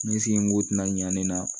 N senko tɛna ɲan ne la